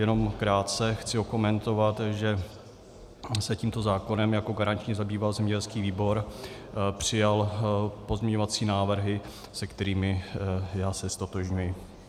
Jenom krátce chci okomentovat, že se tímto zákonem jako garanční zabýval zemědělský výbor, přijal pozměňovací návrhy, se kterými já se ztotožňuji.